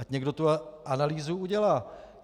Ať někdo tu analýzu udělá.